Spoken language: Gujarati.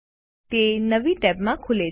તે નવી ટેબમાં ખુલે છે